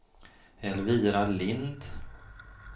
Elvira Lind